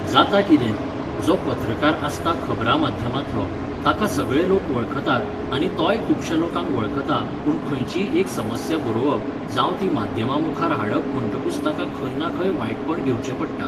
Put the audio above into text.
जाता कितें? जो पत्रकार आसता खबरां माध्यमांतलो, ताका सगळे लोक वळखतात आनी तोय खुबशां लोकांक वळखता पूण खंयचीय एक समस्या बरोवप, जावं ती माध्यमांमुखार हाडप म्हणटकुच ताका खंय ना खंय वायटपण घेवचें पडटा